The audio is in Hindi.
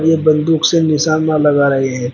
और ये बंदूक से निशाना लगा रहे हैं।